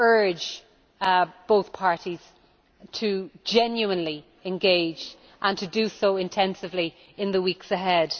I urge both parties to genuinely engage, and to do so intensively in the weeks ahead.